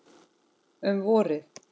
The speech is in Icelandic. Um vorið